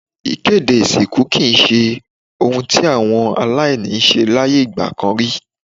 Ìkéde ìsìnkú kì í se ohun tí àwọn aláìní ń ṣe láyé ìgbà kan rí.